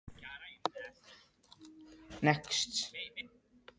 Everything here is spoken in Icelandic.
Askja, slökktu á þessu eftir fimmtíu og fimm mínútur.